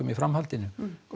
í framhaldinu